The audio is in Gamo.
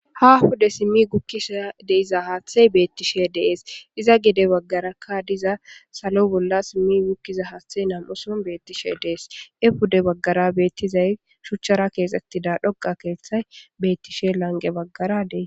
ha hude simmi gukkisa deiza haaththey beettishe dees iza gide baggarakka diza salo bolla simmi gukkiza haaththey nam7uson beettishe dees e pude baggara beettizay shuchchara keexettida dhoga keeththay bettishe lange baggara des